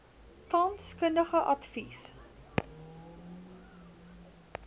tans kundige advies